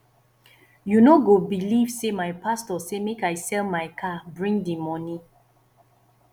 you no go beliv sey my pastor say make i sell my car bring di moni